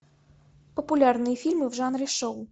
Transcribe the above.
популярные фильмы в жанре шоу